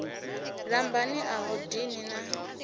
lambani a hu dini na